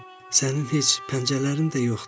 sənin heç pəncələrin də yoxdur.